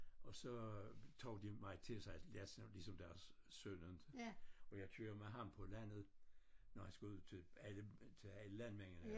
Og så tog de mig til sig ligesom deres søn inte og jeg kører med ham på landet når han skulle ud til alle til alle landmændene